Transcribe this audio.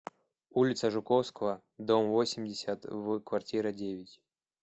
улица жуковского дом восемьдесят в квартира девять